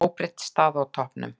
Óbreytt staða á toppnum